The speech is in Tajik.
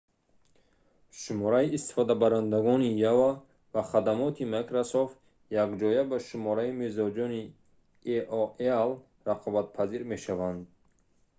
шумораи истифодабарандагони yahoo ва хадамоти microsoft якҷоя ба шумораи мизоҷони aol рақобатпазир мешаванд